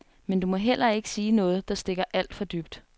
Men du må heller ikke sige noget, der stikker alt for dybt.